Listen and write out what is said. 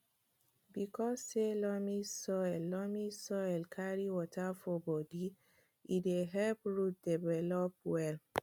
because say loamy say loamy soil carry water for bodi e dey help roots develop well